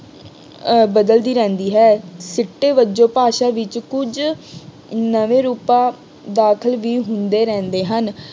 ਅਹ ਬਦਲਦੀ ਰਹਿੰਦੀ ਹੈ। ਸਿੱਟੇ ਵਜੋਂ ਭਾਸ਼ਾ ਵਿੱਚ ਕੁੱਝ ਨਵੇਂ ਰੂਪਾਂ ਦਾਖਲ ਵੀ ਹੁੰਦੇ ਰਹਿੰਦੇ ਹਨ।